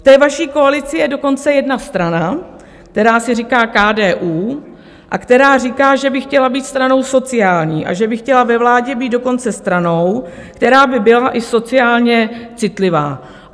V té vaší koalici je dokonce jedna strana, která si říká KDU a která říká, že by chtěla být stranou sociální a že by chtěla ve vládě být dokonce stranou, která by byla i sociálně citlivá.